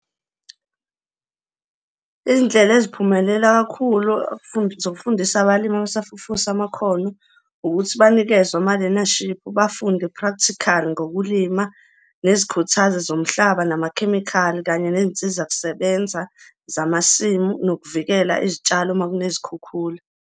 Izindlela eziphumelela kakhulu zokufundisa abalimi abasafufusa amakhono ukuthi banikezwe amalenashiphu, bafunde practical ngokulima, nezikhuthazi zomhlaba, namakhemikhali kanye ney'nsiza kusebenza zamasimu, nokuvikela izitshalo uma kunezikhukhula.